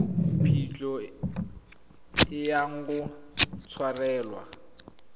phitlho e yang go tshwarelwa